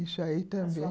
Isso aí também.